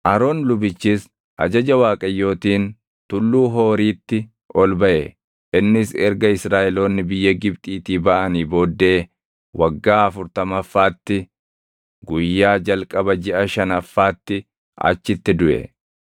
Aroon lubichis ajaja Waaqayyootiin Tulluu Hooriitti ol baʼe; innis erga Israaʼeloonni biyya Gibxiitii baʼanii booddee waggaa afurtamaffaatti guyyaa jalqaba jiʼa shanaffaatti achitti duʼe.